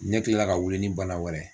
Ɲɛ kila la ka wuli ni bana wɛrɛ ye.